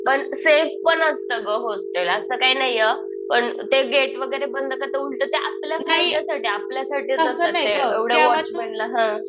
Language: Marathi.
पण सेफ पण असतं गं हॉस्टेल. असं काही नाहीये हा. पण ते गेट वगैरे बंद करतात उलटं ते आपल्याच भल्यासाठी आपल्यासाठी करतात. एवढा वॉच ठेवतात ते. हा.